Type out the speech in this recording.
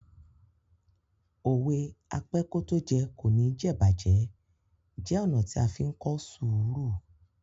Òwe "Apẹ́kótójẹ kò ní jẹ̀'bàjẹ́" jẹ́ ọ̀nà tí a fí ń kọ́ sùúrù.